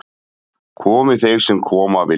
Komi þeir sem koma vilja